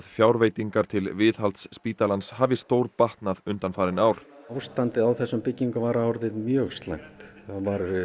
fjárveitingar til viðhalds spítalans hafi stórbatnað undanfarin ár ástandið á þessum byggingum var orðið mjög slæmt það